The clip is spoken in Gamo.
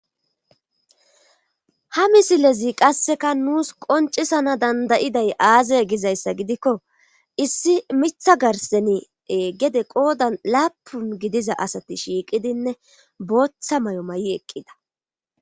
ha misilezi qasseka nuus qoncisana dandayiday aazay gizayssa gidikko issi mitha garsenie gede qoodan laapun gidiza asati shiiqidinne booththa may7o may7i eqqida